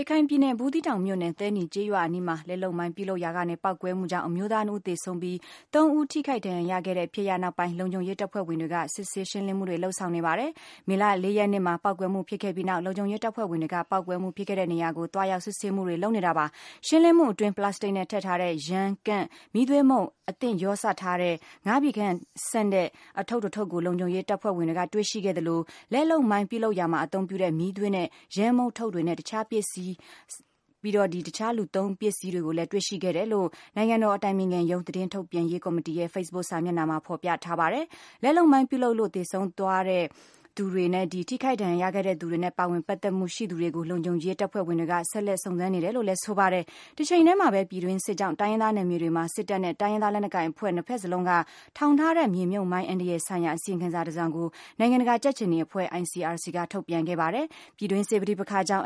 ရခိုင်ပြည်နယ် ဘူးသီးတောင်မြို့နယ် သဲနီကျေးရွာအနီးမှာ လက်လုပ်မိုင်း ပြုလုပ်နေရာကနေ ပေါက်ကွဲမှုကြောင့် အမျိုးသား ၂ ဦးသေဆုံးပြီး ၃ ဦးထိခိုက်ဒဏ်ရာရခဲ့တဲ့ ဖြစ်ရပ်နောက်ပိုင်း လုံခြုံရေးတပ်ဖွဲ့ဝင်တွေက စစ်ဆေး ရှင်းလင်းမှုတွေ လုပ်ဆောင်နေပါတယ်။ မေလ ၄ ရက်နေ့မှာ ပေါက်ကွဲမှု ဖြစ်ခဲ့ပြီးနောက် လုံခြုံရေးတပ်ဖွဲ့ဝင်တွေက ပေါက်ကွဲမှုဖြစ်ခဲ့တဲ့နေရာကို သွားရောက် စစ်ဆေးမှုတွေလုပ်နေတာပါ။ ရှင်းလင်းမှုအတွင်း ပလပ်စတစ်နဲ့ ထည့်ထားတဲ့ ယမ်း၊ ကန့်၊ မီးသွေးမှုန့် အသင့်ရောစပ်ထားတဲ့ ၅ ပြည်ခန့်ရှိတဲ့ အထုပ် ၁ ထုပ်ကို လုံခြုံရေးတပ်ဝင်တွေ တွေ့ရှိခဲ့သလို၊ လက်လုပ်မိုင်းပြုလုပ်ရာမှာအသုံးပြုတဲ့ မီးသွေးနဲ့ ယမ်းမှုန့်ထုတ်တွေနဲ့ တခြားပစ္စည်းတွေအပြင် လူသုံးပစ္စည်းတချို့ကိုလည်း တွေ့ရှိခဲ့တယ်လို့ နိုင်ငံတော်အတိုင်ပင်ခံရုံး သတင်းထုတ်ပြန်ရေးကော်မတီရဲ့ Facebook စာမျက်နှာမှာဖော်ပြ ထားပါတယ်။ လက်လုပ်မိုင်း ပြုလုပ်လို့ သေဆုံးသွားတဲ့သူတွေ၊ ထိခိုက်ဒဏ်ရာရခဲ့တဲ့သူတွေနဲ့ ပါဝင်ပတ်သက်မှုရှိသူတွေကို လုံခြုံရေးတပ်ဖွဲ့ဝင်တွေက ဆက်လက်ဆုံစမ်းနေတယ်လို့လည်းဆိုပါတယ်။ တချိန်တည်းမှာပဲ ပြည်တွင်းစစ်ကြောင့် တိုင်းရင်းသားနယ်မြေတွေမှာ စစ်တပ်နဲ့ တိုင်းရင်းသားလက်နက်ကိုင်အဖွဲ့ နှစ်ဖက်စလုံးက ထောင်ထားခဲ့တဲ့ မြေမြုပ်မိုင်း အန္တရာယ်ဆိုင်ရာ အစီရင်ခံစာတစောင်ကို နိုင်ငံတကာကြက်ခြေနီအဖွဲ့ (ICRC) ကထုတ်ပြန်ခဲ့ပါတယ်။ ပြည်တွင်းစစ် ပဋိပက္ခကြောင့်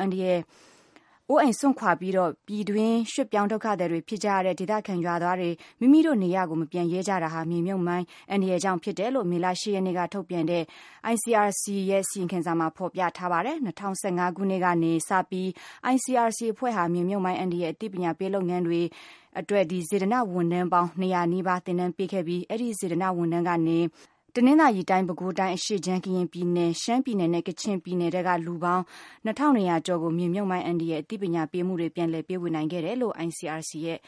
အိုးအိမ်စွန့်ခွာပြီး ပြည်တွင်းရွှေ့ပြောင်းဒုက္ခသည်တွေဖြစ်ကြရတဲ့ ဒေသခံ ရွာသွားတွေ မိမိတို့ နေရပ်ကို မပြန်ရဲကြတာဟာ မြေမြုပ်မိုင်းအန္တရာယ်ကြောင့် ဖြစ်တယ်လို့ မေလ ၈ ရက်နေ့ကထုတ်ပြန်တဲ့ ICRC အဖွဲ့ရဲ့ အစီရင်ခံစာမှာ ဖော်ပြထားပါတယ်။ ၂၀၁၅ ခုနှစ်ကနေစပြီး ICRC အဖွဲ့ဟာ မြေမြုပ်မိုင်း အန္တရာယ် အသိပညာပေးလုပ်ငန်းအတွက် စေတနာ့ဝန်ထမ်းပေါင်း ၂၀၀ နီးပါးကို သင်တန်းပေးခဲ့ပြီးတော့ ဒီစေတနာ့ဝန်ထမ်းတွေကနေ တနင်္သာရီတိုင်း၊ ပဲခူးတိုင်း အရှေ့ခြမ်း၊ ကရင်ပြည်နယ်၊ ရှမ်းပြည်နယ်နဲ့ ကချင်ပြနည်ထဲက လူပေါင်း ၂ ထောင့် ၂ ရာကျော်ဆီကို မြေမြုပ်မိုင်း အန္တရာယ် အသိပညာပေးမှုတွေ ပြန်လည်ပေးဝေနိုင်ခဲ့တယ်လို့ ICRC အဖွဲ့